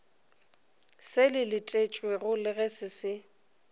se letetšwego le se se